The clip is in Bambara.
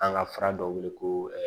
An ka fura dɔ wele ko